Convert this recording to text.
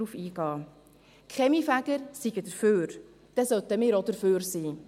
Die Kaminfeger seien dafür, deshalb sollten auch wir dafür sein.